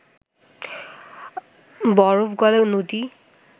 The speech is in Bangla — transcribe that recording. বরফ গলা নদী